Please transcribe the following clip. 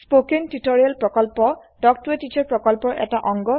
কথন শিক্ষণ প্ৰকল্প তাল্ক ত a টিচাৰ প্ৰকল্পৰ এটা অংগ